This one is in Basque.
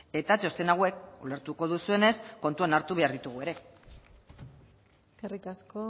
eta txosten hauek ulertuko duzuenez kontuan hartu behar ditugu ere eskerrik asko